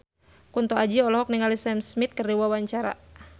Kunto Aji olohok ningali Sam Smith keur diwawancara